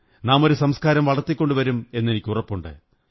നാമൊരു സംസ്കാരം വളര്ത്തി ക്കൊണ്ടുവരുമെന്ന് എനിക്കുറപ്പുണ്ട്